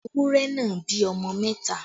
Ewúrẹ́ náà bí ọmọ mẹta